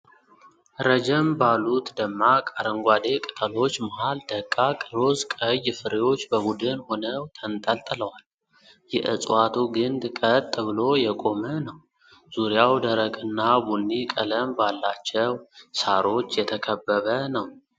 ረጀም ባሉት ደማቅ አረንጓዴ ቅጠሎች መሃል ደቃቅ ሮዝ ቀይ ፍሬዎች በቡድን ሆነው ተንጠልጥለዋል። የእጽዋቱ ግንድ ቀጥ ብሎ የቆመ ነው፣ ዙሪያው ደረቅና ቡኒ ቀለም ባላቸው ሳሮች የተከበበ ነው።